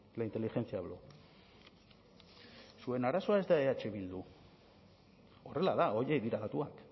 la inteligencia habló zuen arazoa ez da eh bildu horrela da horiek dira datuak